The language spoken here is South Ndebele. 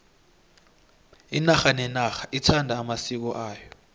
inarha nenarha ithanda amasiko ayo